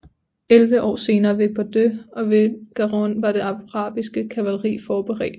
Elleve år senere ved Bordeaux og ved Garonne var det arabiske kavaleri velforberedt